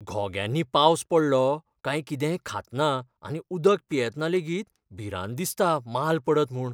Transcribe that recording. घोग्यांनी पावस पडलो काय कितेंय खातना आनी उदक पियेतना लेगीत भिरांत दिसता माल पडत म्हूण.